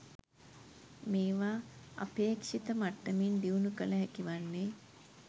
මේවා අපේක්ෂිත මට්ටමින් දියුණු කළ හැකි වන්නේ